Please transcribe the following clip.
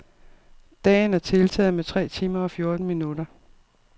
Dagen er tiltaget med tre timer og fjorten minutter.